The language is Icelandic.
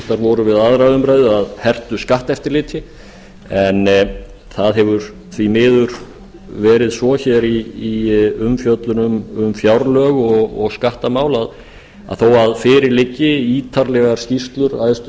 voru við aðra umræðu af hertu skatteftirliti en það hefur því miður verið svo hér í umfjöllun um fjárlög og skattamál að þó fyrir liggi ítarlegar skýrslur æðstu